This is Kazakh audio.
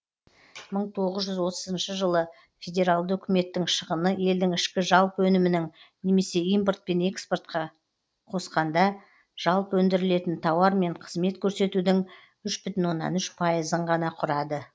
мың тоғыз жүз отызыншы жылы федералды үкіметтің шығыны елдің ішкі жалпы өнімінің немесе импорт пен экспортқа қосқанда жалпы өндірілетін тауар мен қызмет көрсетудің үш бүтін оннан үш пайызын ғана құрады